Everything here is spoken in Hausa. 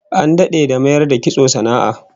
An dade da mayar da kitso sana'a